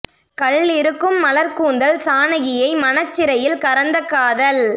கள் இருக்கும் மலர்க் கூந்தல் சானகியை மனச் சிறையில் கரந்த காதல்